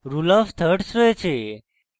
rule of thirds রয়েছে